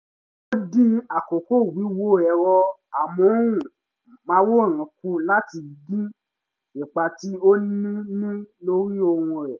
ó dín àkókò wíwo ẹ̀rọ amóhùnmáwòrán kù láti dín ipa tí ó ń ní lórí oorun ẹ̀